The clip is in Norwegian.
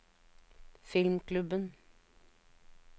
filmklubben